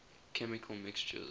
chemical mixtures